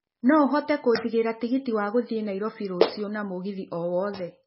No ũhote kũnjigĩra tigiti wa gũthiĩ Nairobi rũciũ na mũgithi o wothe